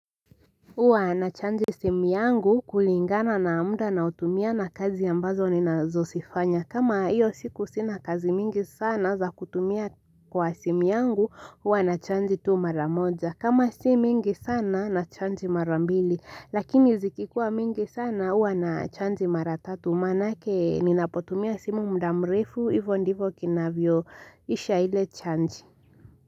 Huwa nachanji simu yangu kulingana na muda ninaotumia na kazi ambazo ni nazo zifanya kama hio siku sina kazi mingi sana za kutumia kwa simu yangu huwa nachaji tu mara moja kama si mingi sana nachaji mara mbili lakini zikikuwa mingi sana huwa nachaji mara tatu maanake ninapotumia simu muda mrefu hivyo ndivyo kinavyo isha ile chaji.